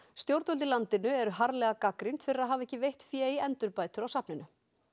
stjórnvöld í landinu eru harðlega gagnrýnd fyrir að hafa ekki veitt fé í endurbætur á safninu